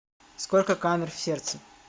сколько камер в сердце